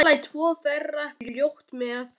Jú, það voru karamellur í öllum skónum.